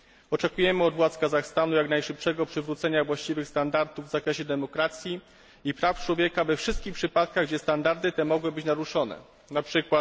Oczekujemy od władz Kazachstanu jak najszybszego przywrócenia właściwych standardów w zakresie demokracji i praw człowieka we wszystkich przypadkach, gdzie te standardy mogły zostać naruszone, np.